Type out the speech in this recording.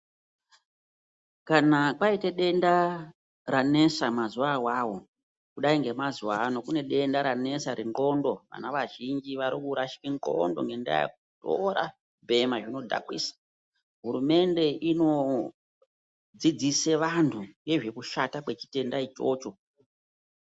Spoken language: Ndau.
Kana kwaite denda ranesa mazuwa awawo kudai ngemazuwa ano kune denda ranesa renxlondo vana vazhinji varikurashike nxlondo ngendaa yekutora kubhema zvinodhakwisa hurumende inodzidzise vantu nezvekushata kwechitenda ichocho.